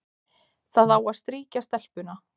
Það á að strýkja stelpuna,